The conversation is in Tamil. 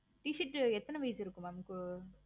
எத்தனை வயசு இருக்கு mam